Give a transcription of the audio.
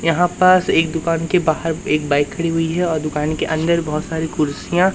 यहां पास एक दुकान के बाहर एक बाइक खड़ी हुई है और दुकान के अंदर बहोत सारी कुर्सियां--